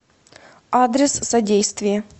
адрес содействие